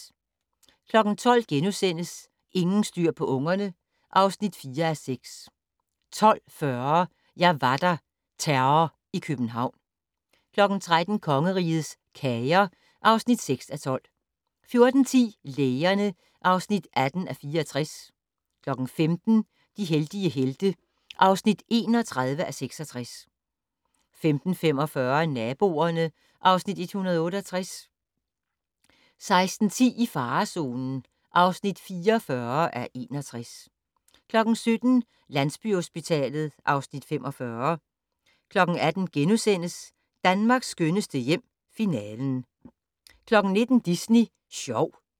12:00: Ingen styr på ungerne (4:6)* 12:40: Jeg var der - Terror i København 13:00: Kongerigets Kager (6:12) 14:10: Lægerne (18:64) 15:00: De heldige helte (31:66) 15:45: Naboerne (Afs. 168) 16:10: I farezonen (44:61) 17:00: Landsbyhospitalet (Afs. 45) 18:00: Danmarks skønneste hjem - Finalen * 19:00: Disney Sjov